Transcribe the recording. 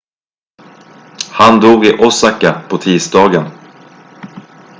han dog i osaka på tisdagen